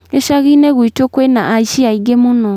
Gicagi-inĩ gwitũ kwĩna aici aingĩ mũno